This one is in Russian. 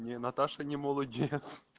не наташа не молодец